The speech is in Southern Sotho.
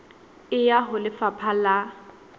e ya ho lefapha la